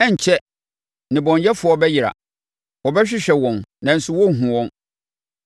Ɛrenkyɛre, nnebɔneyɛfoɔ bɛyera. Wɔbɛhwehwɛ wɔn, nanso wɔrenhunu wɔn.